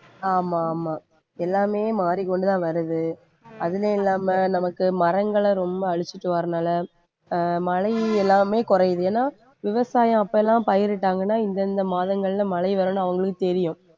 ஆமா ஆமா எல்லாமே மாறிக்கொண்டுதான் வருது அதிலயும் இல்லாம நமக்கு மரங்களை ரொம்ப அழிச்சிட்டு வர்றதுனால மழை எல்லாமே குறையுது ஏன்னா விவசாயம் அப்ப எல்லாம் பயிரிட்டாங்கன்னா இந்தந்த மாதங்கள்ல மழை வரும்னு அவங்களுக்கு தெரியும்